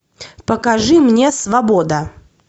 покажи мне свобода